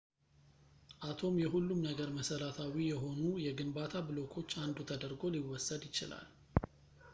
አቶም የሁሉም ነገር መሠረታዊ የሆኑ የግንባታ ብሎኮች አንዱ ተደርጎ ሊወሰድ ይችላል